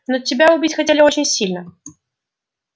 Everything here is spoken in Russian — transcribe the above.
но тебя убить хотели очень сильно